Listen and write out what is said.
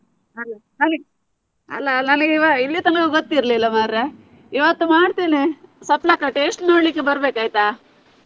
ಅಲ್ಲ ನನಿಗೆ ಇಲ್ಲಿ ತನ್ಕ ಗೊತ್ತಿರ್ಲಿಲ್ಲ ಮರ್ರೆ. ಇವತ್ತು ಮಾಡ್ತೇನೆ ಸ್ವಪ್ನಕ್ಕ taste ನೋಡ್ಲಿಕ್ಕೆ ಬರ್ಬೇಕು ಆಯ್ತಾ?